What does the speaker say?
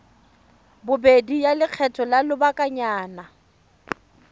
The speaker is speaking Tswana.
bobedi ya lekgetho la lobakanyana